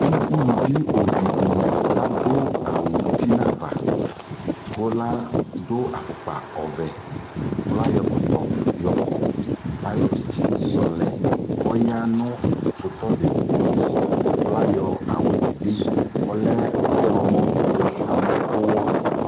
U uluvi ovi dι la dʋ awʋ uti nʋ ava kʋ ladʋ afukpa ɔvɛ kʋ layɔ ɛkɔtɔ yɔkɔ Layɔ tsitsiyɔlɛ kʋ ɔya nʋ sutɔ dι tʋ kʋ layy awʋdι bι ɔlɛ ɔɣlɔmɔ yɔtsua